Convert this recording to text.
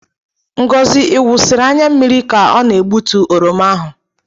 Ngozi iwusiri anya mmiri ka ọ na-egbutu oroma ahụ.